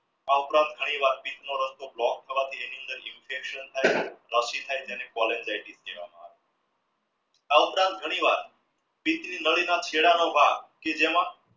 આ ઉપરાંત ઘણી વાર એની અંદર infection થઈ છે આ ઉપરાંત ઘણી વાર નડી ના ચેડાં નો ભાગ